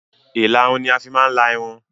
Ìlarun ní a fi máa ń la Irun